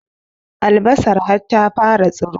Albasar har ta fara tsiro